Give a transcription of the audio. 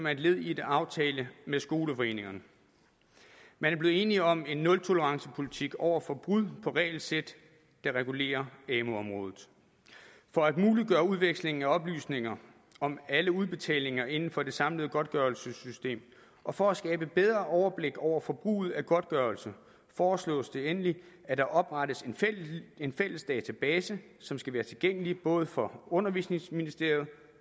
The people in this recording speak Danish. er et led i en aftale med skoleforeningerne man er blevet enig om en nultolerancepolitik over for brud på regelsæt der regulerer amu området for at muliggøre udveksling af oplysninger om alle udbetalinger inden for det samlede godtgørelsessystem og for at skabe bedre overblik over forbruget af godtgørelse foreslås det endelig at der oprettes en fælles database som skal være tilgængelig både for undervisningsministeriet